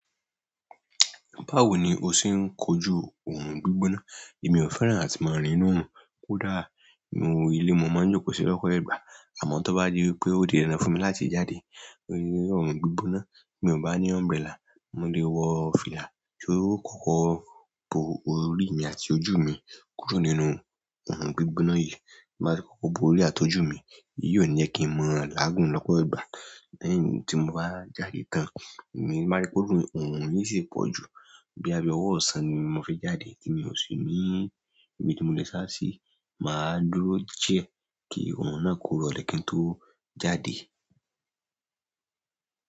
Báwo ni o ṣe ń kojú òòrùn gbígbóná? Èmi ò fẹ́ràn àti máa rìn nínú òòrùn. Kódà nínú ilé, mo máa ń jókòó sí lọ́kọ ẹ̀gbà. Àmọ́ tó bá di wípé ó di dandan fún mi láti jáde nínú òòrùn gbígbóná, mi ò bá ní umbrella, mo lè wọ fìlà tí yóò kọ́ bo orí àti ojú mi kúrò nínú òòrùn gbígbóná yìí. Bí a ṣe ko bo orí àti ojú mi, èyí ò ní jẹ́ kí ń mọ́ láàgùn lọ́pọ̀ ìgbà. Lẹ́yìn tí mo bá jáde tán, èmi máa rí pé òòrùn yìí sì ń pọ̀ jù. Bóyá bíi ọwọ́ ọ̀sán ni mo fi jáde tí mi ò sí ní ibi tí mo lè sá sí, mà á dúró díẹ̀ kí òòrùn náà kó rọ̀ lẹ́kín tó jáde.